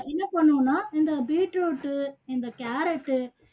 என்ன பண்ணணும்னா இந்த beetroot உ இந்த carrot உ